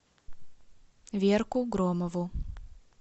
верку громову